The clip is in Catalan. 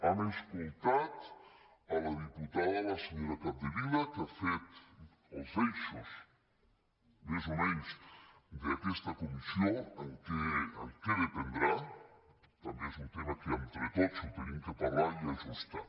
hem escoltat a la diputada a la senyora capdevila que ha fet els eixos més o menys d’aquesta comissió en què dependrà també és un tema que entre tots ho hem de parlar i ajustar